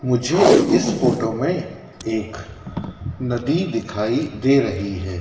मुझे इस फोटो में एक नदी दिखाई दे रही हैं।